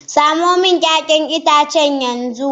Samo min 'ya'yan itacen yanzu